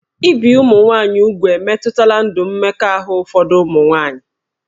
Ibi ụmụ nwaanyị úgwù emetụtala ndụ mmekọahụ ụfọdụ ụmụ nwaanyị